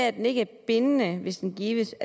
at den ikke er bindende hvis den gives